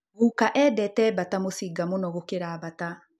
Guka endete bata mũcinga mũno gũkĩra bata